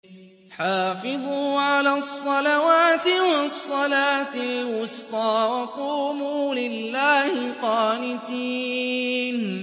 حَافِظُوا عَلَى الصَّلَوَاتِ وَالصَّلَاةِ الْوُسْطَىٰ وَقُومُوا لِلَّهِ قَانِتِينَ